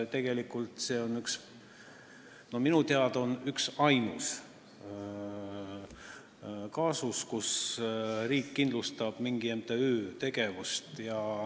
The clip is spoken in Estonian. Tegelikult on see minu teada ainus kaasus, kui riik kindlustab mingi MTÜ tegevuse.